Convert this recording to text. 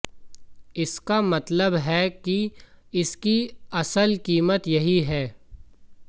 इसका मतलब है कि इसकी असल कीमत यही है